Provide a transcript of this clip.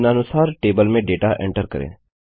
निम्नानुसार टेबल में data enter करें